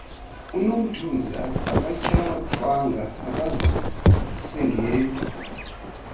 unomthunzi akatyhafanga akazisingeli